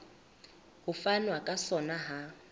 ho fanwa ka sona ha